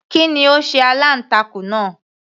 Kí ni ó sé aláǹtakùn náà